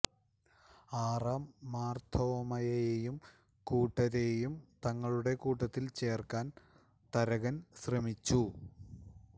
ആറാം മാർത്തോമായെയും കൂട്ടരെയും തങ്ങളുടെ കൂട്ടത്തിൽ ചേർക്കാൻ തരകൻ ശ്രമിച്ചു